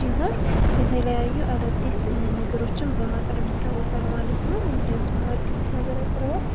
ሲሆን የተለያዩ አዳዲስ ነገሮችን በማቅረብ ይታወቃል ማለት ነው። እንደ ስሙ አዲስ ነገር ያቀርባል።